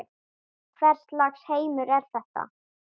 Hvers lags heimur er þetta?